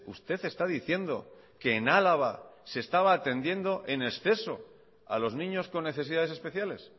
usted está diciendo que en álava se estaba atendiendo en exceso a los niños con necesidades especiales